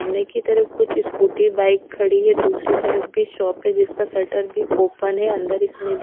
मने की तरफ कुछ स्कूटी बाइक खड़ी है दूसरी तरफ भी शॉप है जिसका शटर भी ओपन है अंदर इसमे--